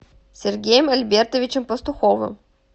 сергеем альбертовичем пастуховым